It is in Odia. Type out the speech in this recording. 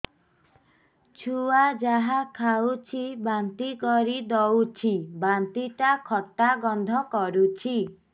ଛୁଆ ଯାହା ଖାଉଛି ବାନ୍ତି କରିଦଉଛି ବାନ୍ତି ଟା ଖଟା ଗନ୍ଧ କରୁଛି